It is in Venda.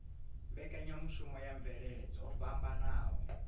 mbekanyamushumo ya mvelele dzo fhambanaho